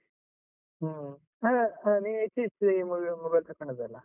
ಹಾ ಅದೇ ನೀನ್ ಇತ್ತೀಚಿಗೆ mobile ತಕೊಂಡದ್ದಲ್ಲಾ?